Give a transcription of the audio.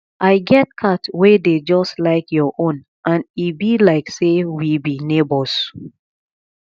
i get cat wey dey just like your own and e be like say we be neighbours